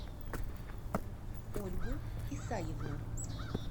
ольгу исаевну